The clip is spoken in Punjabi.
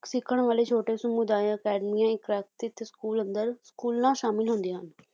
ਸਿੱਖਣ ਵਾਲੇ ਛੋਟੇ ਸਮੁਦਾਇ ਅਕੈਡਮੀਆਂ ਸਕੂਲ ਅੰਦਰ ਸਕੂਲਾਂ ਸ਼ਾਮਲ ਹੁੰਦੀਆਂ ਹਨ